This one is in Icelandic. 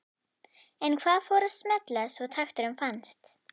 En hvað fór að smella svo takturinn fannst?